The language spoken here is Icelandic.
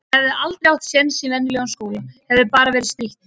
Hann hefði aldrei átt sjens í venjulegum skóla. hefði bara verið strítt.